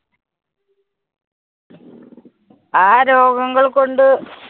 ആ രോഗങ്ങള്‍ കൊണ്ട്